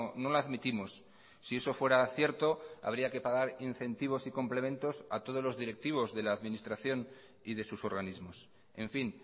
no la admitimos si eso fuera cierto habría que pagar incentivos y complementos a todos los directivos de la administración y de sus organismos en fin